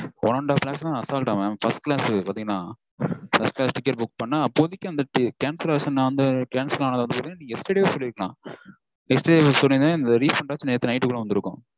One and half lakhs -னா assault -ஆ mam? First class பாத்தீங்கனா. First class ticket book பண்ணா அப்போதைக்கு அந்த cancellation cancel ஆனது நீங்க yesterday -வே சொல்லிருக்கலாம். Yesterday சொல்லிருந்தீங்கனா இந்த refund ஆச்சும் நேத்து night கூட வந்திருக்கும்